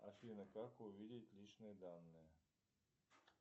афина как увидеть личные данные